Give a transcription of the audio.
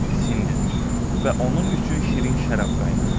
İsindirdi və onun üçün şirin şərab qaynatdı.